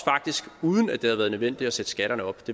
uden det havde været nødvendigt at sætte skatterne op